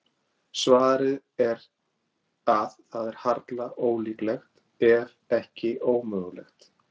Svarið er að það er harla ólíklegt, ef ekki ómögulegt.